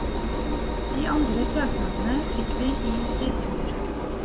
De andre søknadene fikk vi i retur.